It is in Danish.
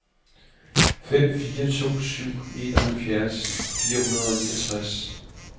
fem fire to syv enoghalvfjerds fire hundrede og niogtres